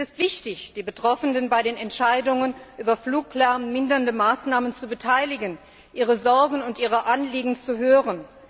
Es ist wichtig, die Betroffenen an den Entscheidungen über fluglärmmindernde Maßnahmen zu beteiligen, ihre Sorgen und ihre Anliegen zu hören.